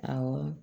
Awɔ